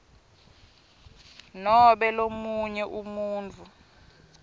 nobe lomunye umuntfu